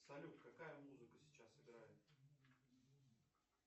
салют какая музыка сейчас играет